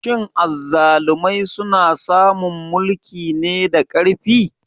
Shin azzalumai suna samun mulki ne da ƙarfi?